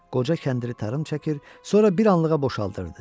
Qoca kəndiri tarım çəkir, sonra bir anlığa boşaldırdı.